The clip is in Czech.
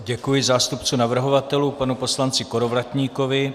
Děkuji zástupci navrhovatelů panu poslanci Kolovratníkovi.